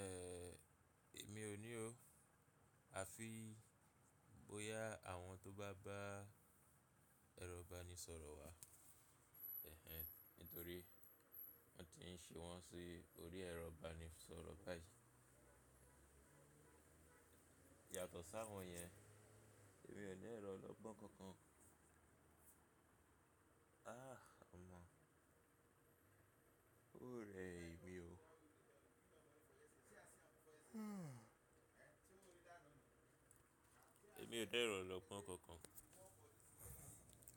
Ẹ̀, èmi ò ní o. A fi bóyá àwọn tó bá bá ẹrọ ibanisọ̀rọ̀ wà, ẹhen, nítorí wọ́n ti ń ṣe wọ́n sí orí ẹrọ ibanisọ̀rọ̀ báyìí. Yàtọ̀ sáwọn yẹn, èmi ò ní ẹ̀rọ ọlọ́gbọ́n kankan. Ah, ọmọ, o rẹ èmi o. Èmi ò dá ẹ̀rọ ọlọ́gbọ́n kankan.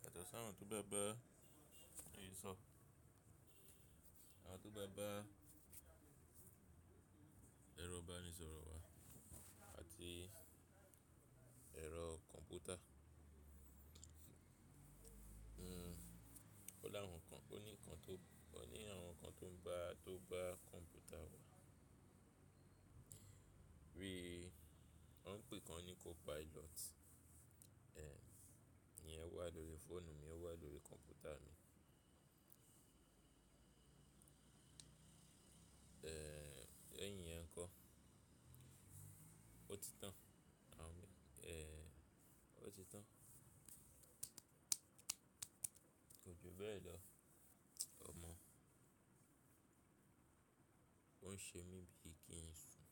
Yàtọ̀ sáwọn tó bá bá ìyíṣọ́, àwọn tó bá bá ẹrọ ibanisọ̀rọ̀ wà àti ẹ̀rọ kọ̀m̀pútà. Hmm, ó dáhùn kan, ó ní ǹkan tó, ó ní àwọn ǹkan tó ń bá a tó bá kọ̀m̀pútà wà. Bí i wọ́n ń pè kan ní co pilot. Eh, ìyẹn wà lórí fóònù mi, ó wà lórí kọ̀m̀pútà mi. Lẹ́yin yẹn kọ́, ó ti tán, àbí? Eh, ó ti tán. Kò ju bẹ́ẹ̀ lọ, ọmọ. Ọ́n ń ṣe mí bíi kí ń sùn.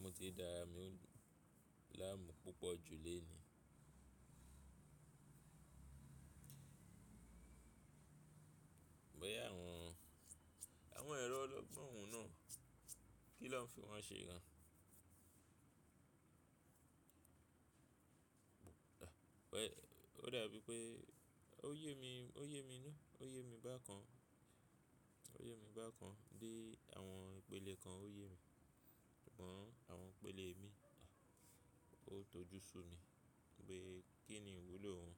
Mo ti dára mi láàmú púpọ̀ jù lénìí. Bóyá àwọn, àwọn ẹ̀rọ ọlọ́gbọ́n náà kí lọ́ ń fi wọ́n ṣe gan. Ẹ̀, O dàbí pé ó yé mi, ó yé mi na, ó yé mi bákan. Ó yé mi bákan bí i àwọn ìpele kan ó yé mi. Ṣùgbọ́n àwọn ìpele mi, ó ń tojú sù mi. Pé kí ni ìwúlò òun?